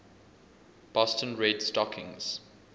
boston red stockings